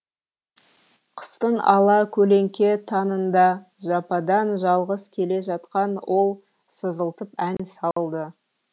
қыстың ала көлеңке таңында жападан жалғыз келе жатқан ол сызылтып ән салды